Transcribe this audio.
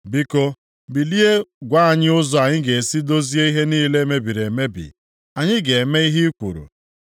Biko, bilie gwa anyị ụzọ anyị ga-esi dozie ihe niile mebiri emebi. Anyị ga-eme ihe i kwuru.”